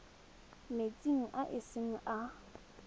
metsing a e seng a